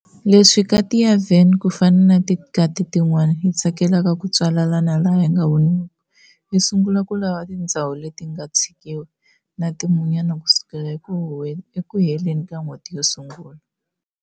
Leswi kati ya Van, kufana na tikati tin'wana, yitsakelaka kutswalana laha yinga voniwiki, yisungula ku lava tindzhawu letinga tshikiwa nati munyama kusukela eku heleni ka n'hweti yosungula.